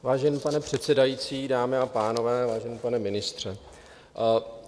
Vážený pane předsedající, dámy a pánové, vážený pane ministře.